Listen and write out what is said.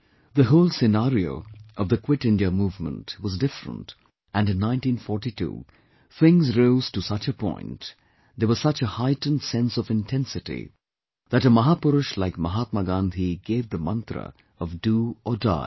The whole scenario of the 'Quit India Movement' was different and in 1942 things rose to such a point, there was such a heightened sense of intensity, that a Mahapurush like Mahatma Gandhi gave the mantra of "Do or Die